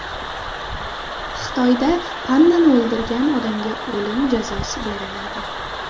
Xitoyda pandani o‘ldirgan odamga o‘lim jazosi beriladi.